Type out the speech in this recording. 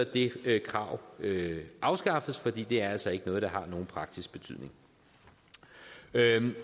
det krav afskaffes for det er altså ikke noget der har nogen praktisk betydning